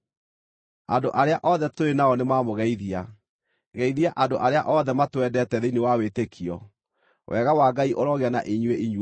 Andũ arĩa othe tũrĩ nao nĩmamũgeithia. Geithia andũ arĩa othe matwendete thĩinĩ wa wĩtĩkio. Wega wa Ngai ũrogĩa na inyuĩ inyuothe.